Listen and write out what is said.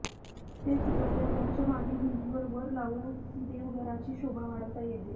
ते सुद्धा देवघराच्या मागील भितींवर वर लावून देवघराची शोभा वाढवता येते